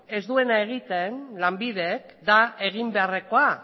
ez duena egiten lanbidek da egin beharrekoa